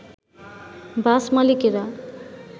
বাস মালিকেরা